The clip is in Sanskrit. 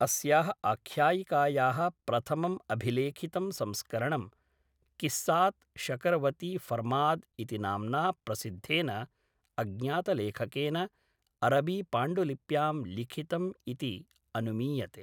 अस्याः आख्यायिकायाः प्रथमम् अभिलेखितं संस्करणं, क़िस्सात् शकरवती फ़रमाद् इति नाम्ना प्रसिद्धेन अज्ञातलेखकेन अरबीपाण्डुलिप्यां लिखितम् इति अनुमीयते।